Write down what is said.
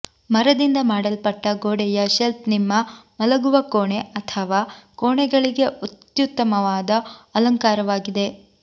ಮರದಿಂದ ಮಾಡಲ್ಪಟ್ಟ ಗೋಡೆಯ ಶೆಲ್ಫ್ ನಿಮ್ಮ ಮಲಗುವ ಕೋಣೆ ಅಥವಾ ಕೋಣೆಗಳಿಗೆ ಅತ್ಯುತ್ತಮವಾದ ಅಲಂಕಾರವಾಗಿದೆ